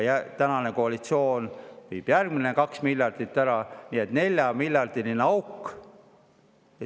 Ja tänane koalitsioon viib järgmised 2 miljardit ära, nii et on 4-miljardiline auk.